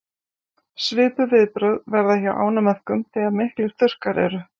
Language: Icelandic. svipuð viðbrögð verða hjá ánamöðkum þegar miklir þurrkar eru